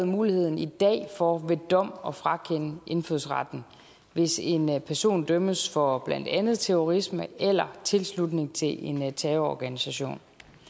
mulighed for ved dom at frakende indfødsretten hvis en person dømmes for blandt andet terrorisme eller tilslutning til en terrororganisation